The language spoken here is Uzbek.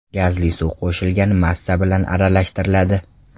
Gazli suv qo‘shilgan massa bilan aralashtiriladi.